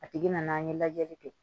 A tigi nana an ye lajɛli kɛ